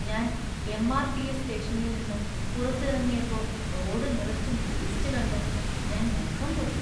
ഞാൻ എം.ആർ.ടി.എസ്. സ്റ്റേഷനിൽ നിന്ന് പുറത്തിറങ്ങിയപ്പോ റോഡ് നിറച്ചും വേസ്റ്റ് കണ്ട് ഞാൻ മുഖം പൊത്തി .